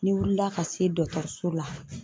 N'i wulila ka se so la